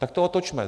Tak to otočme.